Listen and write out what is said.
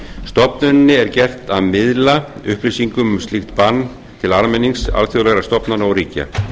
stofnuninni er gert að miðla upplýsingum um slíkt bann til almennings alþjóðlegra stofnana og ríkja